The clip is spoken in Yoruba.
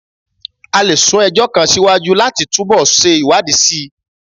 A lè sún ẹjọ́ kan síwájú láti túbọ̀ ṣe ìwádìí síi